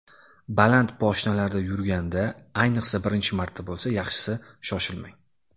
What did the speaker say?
Baland poshnalarda yurganda, ayniqsa birinchi marta bo‘lsa, yaxshisi shoshilmang.